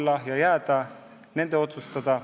See asi võiks jääda nende otsustada.